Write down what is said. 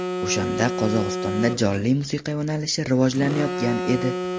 O‘shanda Qozog‘istonda jonli musiqa yo‘nalishi rivojlanayotgan edi.